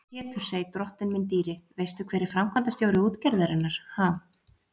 Og Pétursey, drottinn minn dýri, veistu hver er framkvæmdastjóri útgerðarinnar, ha?